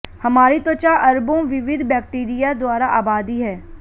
हमारी त्वचा अरबों विविध बैक्टीरिया द्वारा आबादी है